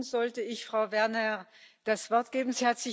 Nun sollte ich Frau Werner das Wort geben.